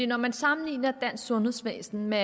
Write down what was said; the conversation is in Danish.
når man sammenligner det sundhedsvæsen med